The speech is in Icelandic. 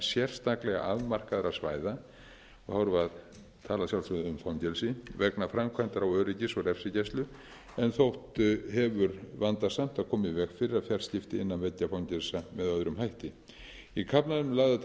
sérstaklega afmarkaðra svæða og þá erum við að tala sérstaklega um fangelsi vegna framkvæmdar á öryggis og refsigæslu en þótt hefur vandasamt að koma í veg fyrir fjarskipti innan veggja fangelsa með öðrum hætti í kaflanum eru lagðar til